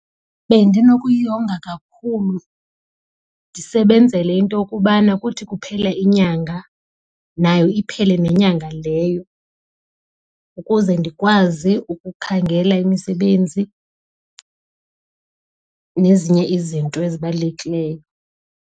Bendinokuyonga kakhulu ndisebenzele into yokubana kuthi kuphela inyanga nayo iphele nenyanga leyo ukuze ndikwazi ukukhangela imisebenzi nezinye izinto ezibalulekileyo.